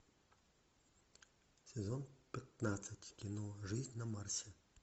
сезон пятнадцать кино жизнь на марсе